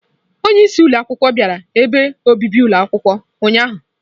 Onye isi ụlọ akwụkwọ bịara ebe obibi ụlọ akwụkwọ ụnyahụ.